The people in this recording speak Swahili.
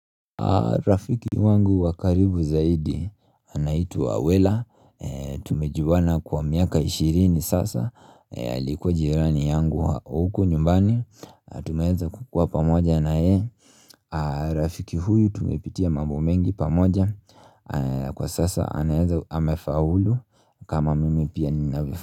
Rafiki wangu wakaribu zaidi anaitwa wela tumejuana kwa miaka ishirini sasa alikuwa jirani yangu wa huko nyumbani tumeeza kukua pamoja na ye Rafiki huyu tumepitia mambo mengi pamoja kwa sasa anaeza amefa hulu kama mimi pia ninavyo.